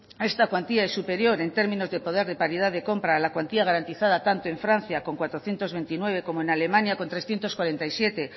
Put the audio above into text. esta cuantía es superior en términos de poder de paridad de compra en la cuantía garantizada tanto en francia con cuatrocientos veintinueve como en alemania con trescientos cuarenta y siete